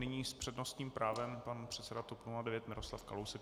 Nyní s přednostním právem pan předseda TOP 09 Miroslav Kalousek.